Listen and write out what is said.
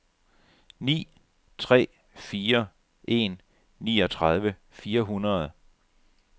ni tre fire en niogtredive fire hundrede